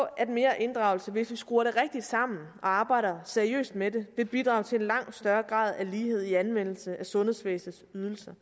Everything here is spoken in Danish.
at mere inddragelse hvis vi skruer det rigtigt sammen og arbejder seriøst med det vil bidrage til en langt større grad af lighed i anvendelsen af sundhedsvæsenets ydelser